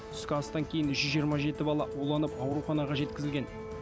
түскі астан кейін үш жүз жиырма жеті бала уланып ауруханаға жеткізілген